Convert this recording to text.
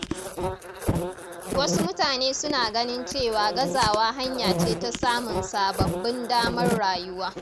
Wasu mutane suna ganin cewa gazawa hanya ce ta samun sababbin damar rayuwa.